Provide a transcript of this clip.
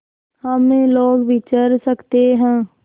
हम लोग विचर सकते हैं